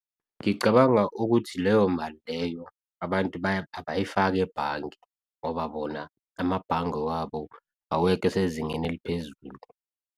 Ngicabanga ukuthi leyo mali leyo abantu abayifaki ebhange ngoba bona amabhange wabo awekho sezingeni eliphezulu.